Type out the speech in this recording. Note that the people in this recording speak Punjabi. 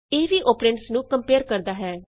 ਇਹ ਵੀ ਅੋਪਰੈਂਡਸ ਨੂੰ ਕੰਪਏਅਰ ਕਰਦਾ ਹੈ